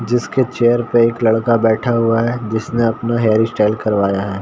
जिसके चेयर पे एक लड़का बैठा हुआ है जिसने अपना हेयर स्टाइल करवाया है।